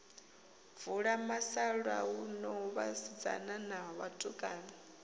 vula musalauno vhasidzana na vhatukana